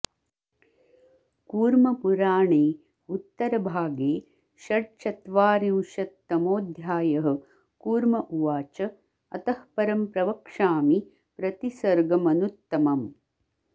कूर्मपुराणए उत्तरभागे षड्चत्वारिंशत्तमोऽध्यायः कूर्म उवाच अतः परं प्रवक्ष्यामि प्रतिसर्गमनुत्तमम्